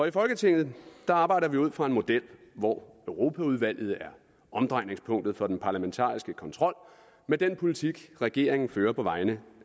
i folketinget arbejder vi ud fra en model hvor europaudvalget er omdrejningspunktet for den parlamentariske kontrol med den politik regeringen fører på vegne